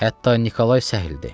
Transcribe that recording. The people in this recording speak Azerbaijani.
Hətta Nikolay səhildir.